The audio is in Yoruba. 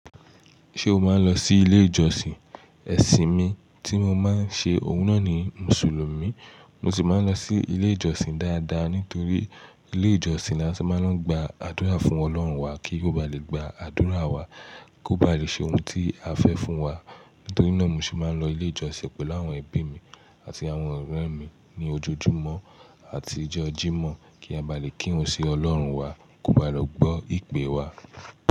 Ṣé o máa ń lọ sí ilé ìjọsìn? Ẹ̀sìn mi tí mo máa ń ṣe òun náà ni Mùsùlùmí. Mo sì máa ń lọ sí ilé ìjọsìn dáadáa nítorí ilé ìjọsìn ni a ti máa ń lọ gba àdúrà fún Ọlọ́run wa kí ó ba lè gba àdúrà wa kó ba lè ṣe ohun tí a fẹ́ fún wa. Nítorí náà mo sì máa ń lọ ilé ìjọsìn pẹ̀lú àwọn ẹbí mi àti àwọn ọ̀rẹ́ mi ní ojoojúmọ́ àti ọjọ́ Jímọ̀ kí a bá lè kírun sí Ọlọ́run wa kó ba lè gbọ́ ìpè wa.